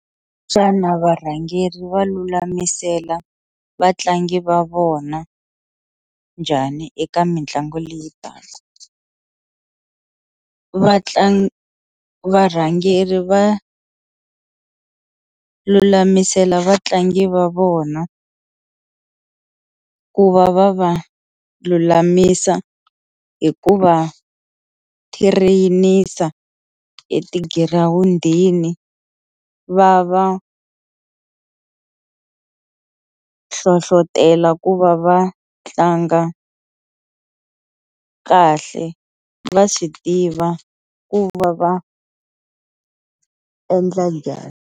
Xana varhangeri va lulamisela vatlangi va vona njhani eka mitlangu leyi taka, vatlangi varhangeri va lulamisela vatlangi va vona ku va va va lulamisa hikuva train-isa etigirawundini va va hlohlotelo ku va va tlanga kahle va swi tiva ku va va endla njhani.